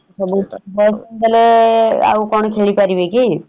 ବୋଲେ ଆଉ କଣ ଖେଳି ପାରିବେ କି ?